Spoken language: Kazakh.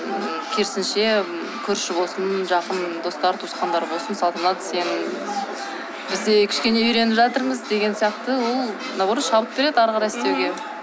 ммм керісінше ммм көрші болсын жақын достар туысқандар болсын салтанат сен біз де кішкене үйреніп жатырмыз деген сияқты ол наоборот шабыт береді ары қарай істеуге